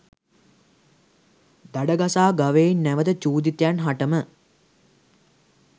දඩ ගසා ගවයින් නැවත චූදිතයින් හටම